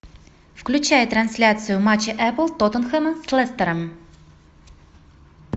включай трансляцию матча апл тоттенхэма с лестером